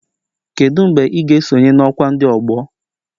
Kedu mgbe ị ga-esonye na ọkwa ndị ọgbọ